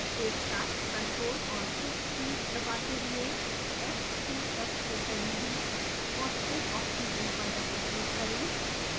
एक साथ ctrl और shift कीज़ दबाते हुए fps के करीबी फॉस्फेट ऑक्सीजन पर डबल क्लिक करें